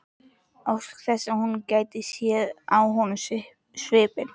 Óski þess að hún gæti séð á honum svipinn.